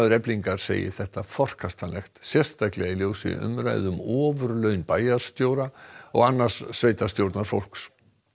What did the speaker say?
Eflingar segir þetta forkastanlegt sérstaklega í ljósi umræðna um ofurlaun bæjarstjóra og annars sveitarstjórnarfólks